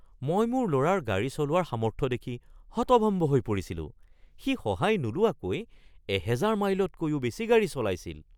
মই মোৰ ল'ৰাৰ গাড়ী চলোৱাৰ সামৰ্থ্য দেখি হতভম্ব হৈ পৰিছিলোঁ! সি সহায় নোলোৱাকৈ ১০০০ মাইলতকৈও বেছি গাড়ী চলাইছিল!